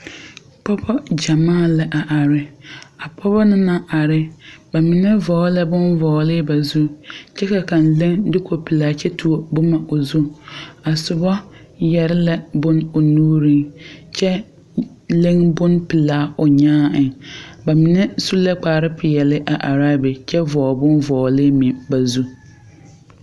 Pɔgɔbɔ gyamaa la a are. A pɔgɔbɔ na naŋ are, ba mene vogle la bon vogle ba zu. Kyɛ ka kang le duko pulaa kyɛ tuo boma o zu. A sobɔ yɛre la bon o nuureŋ kyɛ leŋ bon pulaa o nyaa eŋ. Ba mene su la kpar piɛle a are a be kyɛ vogle bon vogle meŋ ba zu.